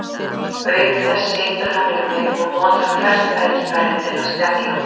Auk þess situr hann um mig og notar hvert tækifæri til að spjalla.